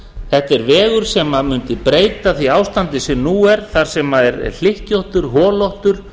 þetta er vegur sem mundi breyta því ástandi sem nú er þar sem hlykkjóttur holóttur